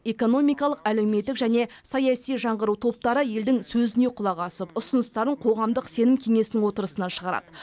экономикалық әлеуметтік және саяси жаңғыру топтары елдің сөзіне құлақ асып ұсыныстарын қоғамдық сенім кеңесінің отырысына шығарады